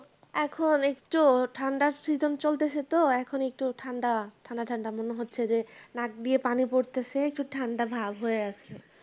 এখন একটু ঠান্ডার season চলতেছে তো এখন একটু ঠান্ডা ঠান্ডা ঠান্ডা মনে হচ্ছে যে নাক দিয়ে পানি পড়তেছে একটু ঠান্ডা ভাব হয়ে আছে